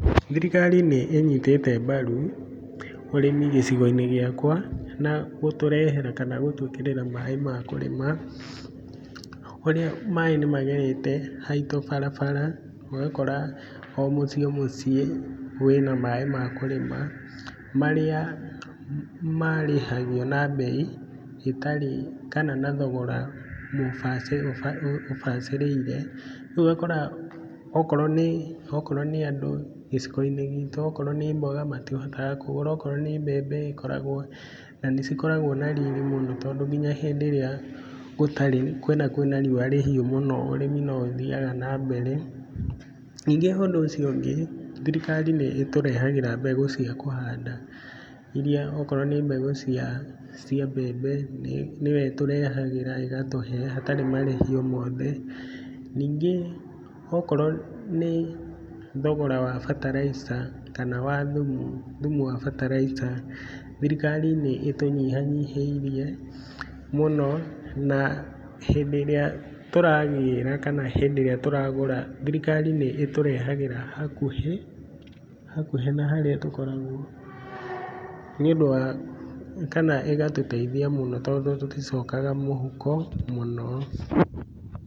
Thirikari nĩ ĩnyitĩte mbaru ũrĩmi gĩcigo-inĩ gĩakwa na gũtũrehera, kana gũtũĩkĩrĩra maĩ ma kũrĩma, ũrĩa maĩ nĩ magerete haitũ barabara, ũgakora o mũciĩ o mũciĩ, wĩna maĩ ma kũrĩma marĩa marĩhagio na mbei ĩtarĩ, kana na thogora mũbacĩrĩre, ũbacĩrĩire rĩu ũgakora okoro nĩ akoro nĩ andũ, gĩcigo-inĩ gitũ okoro nĩ mboga matihotaga kũgũra, okoro nĩ mbembe ĩkoragwo na nĩcikoragwo na riri mũno, tondũ nginya hĩndĩ ĩrĩa gũtarĩ kwĩna kwĩna riũa rĩhiũ mũno ũrĩmi no ũthiaga na mbere. Ningĩ ũndũ ũcio ũngĩ thirikari nĩ ĩtũrehagĩra mbegũ cia kũhanda, iria okoro nĩ mbegũ cia mbembe nĩ nĩyo ĩtũrehagĩra, ĩgatũhe, hatarĩ marĩhi o mothe. Ningĩ okoro nĩ thogora wa bataraitha kana wathumu, thumu wa bataraitha, thirikari nĩ ĩtunyihanyihĩirie mũno, na hĩndĩrĩa tũragĩra, kana hĩndĩ ĩrĩa tũragũra, thirikari nĩ ĩtũrehagĩra hakuhĩ, hakuhĩ na harĩa tũkoragwo, nĩ ũndũ wa kana ĩgatũteithia mũno tondũ tũticokaga mũhuko mũno.